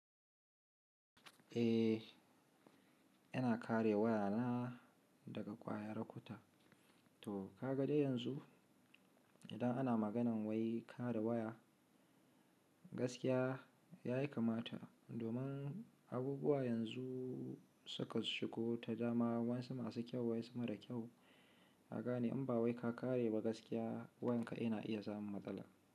Eh, yana kare wayana daga ƙwayar kuta. To ka ga dai yanzu idan ana maganan wai kare waya, gaskiya ya yi kamata. Domin abubuwa yanzu suka shigo ta dama. Wayansu masu kyau wayansu mara kyau. Kagane in ba wai ka kare ba gaskiya wayan ka yana iya samun matsala.